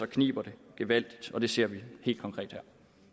kniber det gevaldigt og det ser vi helt konkret her